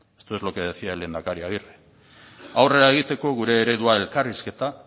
esto es lo que decía el lehendakari agirre aurrera egiteko gure eredua elkarrizketa